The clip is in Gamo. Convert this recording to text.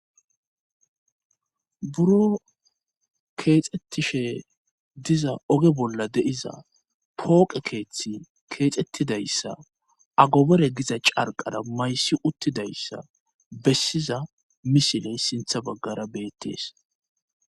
buro keexxettishe diza oge bolla deiza pooqe keeththi keexxettidayssa agobere giza carqara maysi uttidayssa bessiza misiley sintha baggara beettees